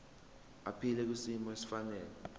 aphile kwisimo esifanele